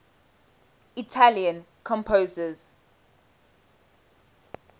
italian composers